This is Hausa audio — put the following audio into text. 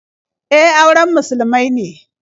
E, auren musulmai ne.